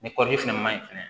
Ni kɔɔri fɛnɛ ma ɲi fɛnɛ